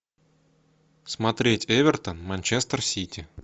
смотреть эвертон манчестер сити